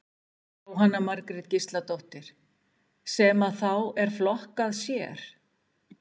Jóhanna Margrét Gísladóttir: Sem að þá er flokkað sér?